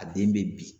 A den bɛ bin